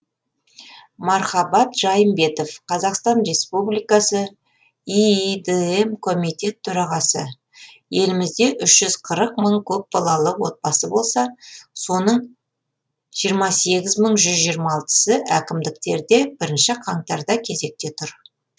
мархабат жайымбетов қазақстан республикасы иидм комитет төрағасы елімізде үш жүз қырық мың көпбалалық отбасы болса соның жиырма сегіз мың жүз жиырма алтысы әкімдіктерде бірінші қаңтарда кезекте тұр